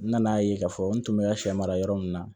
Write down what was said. N nana ye k'a fɔ n tun bɛ ka sɛ mara yɔrɔ min na